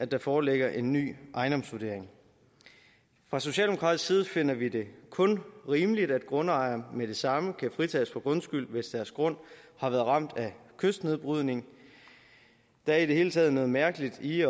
der foreligger en ny ejendomsvurdering fra socialdemokratisk side finder vi det kun rimeligt at grundejere med det samme kan fritages for grundskyld hvis deres grund har været ramt af kystnedbrydning der er i det hele taget noget mærkeligt i